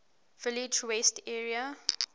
village west area